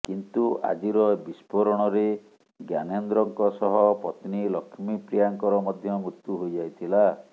କିନ୍ତୁ ଆଜିର ବିସ୍ଫୋରଣରେ ଜ୍ଞାନେନ୍ଦ୍ରଙ୍କ ସହ ପତ୍ନୀ ଲକ୍ଷ୍ମୀପ୍ରିୟାଙ୍କର ମଧ୍ୟ ମୃତ୍ୟୁ ହୋଇଯାଇଥିଲା